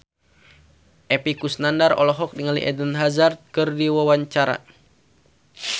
Epy Kusnandar olohok ningali Eden Hazard keur diwawancara